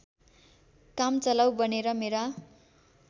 कामचलाउ बनेर मेरा